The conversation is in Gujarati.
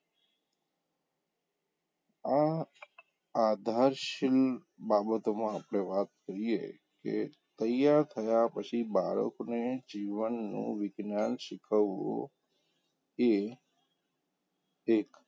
આ આધારશીલ બાબતોમાં આપણે વાત કરીએ કે તૈયાર થયાં પછી બાળકને જીવનનું વિજ્ઞાન શીખવવું એ એક,